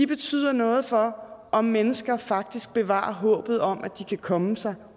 betyder noget for om mennesker faktisk bevarer håbet om at de kan komme sig